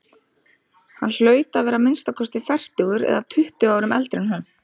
Hann hlaut að vera að minnsta kosti fertugur eða tuttugu árum eldri en hún.